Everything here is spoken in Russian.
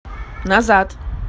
назад